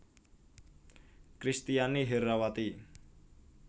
Kristiani Herrawati